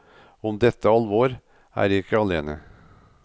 Om dette alvor er jeg ikke alene.